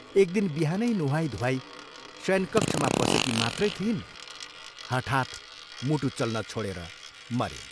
एक दिन बिहानै नुहाई धुवाई शयनकक्षमा पसेकी मात्रै थिइन् हठात् मुटु चल्न छोडेर मरिन्।